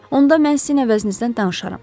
Onda mən sizin əvəzinizdən danışaram.